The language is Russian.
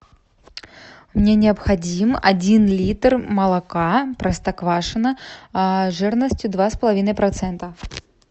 мне необходим один литр молока простоквашино жирностью два с половиной процента